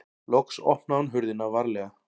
Loks opnaði hún hurðina varlega.